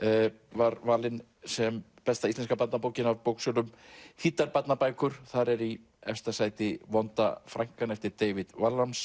var valin sem besta íslenska barnabókin af þýddar barnabækur þar er í efsta sæti vonda frænkan eftir David